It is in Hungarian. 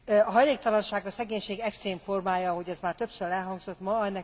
A hajléktalanság a szegénység extrém formája, ahogy az már többször elhangzott ma.